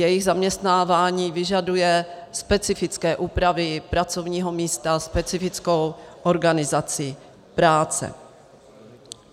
Jejich zaměstnávání vyžaduje specifické úpravy pracovního místa, specifickou organizaci práce.